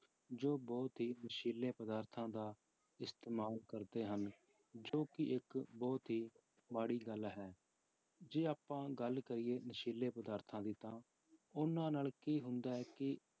ਜੋ ਬਹੁਤ ਹੀ ਨਸ਼ੀਲੇ ਪਦਾਰਥਾਂ ਇਸਤੇਮਾਲ ਕਰਦੇ ਹਨ ਜੋ ਕਿ ਇੱਕ ਬਹੁਤ ਹੀ ਮਾੜੀ ਗੱਲ ਹੈ, ਜੇ ਆਪਾਂ ਗੱਲ ਕਰੀਏ ਨਸ਼ੀਲੇ ਪਦਾਰਥਾਂ ਦੀ ਤਾਂ ਉਹਨਾਂ ਨਾਲ ਕੀ ਹੁੰਦਾ ਹੈ ਕਿ